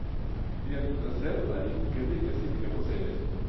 Jentene selv er ikke like sikre på seier.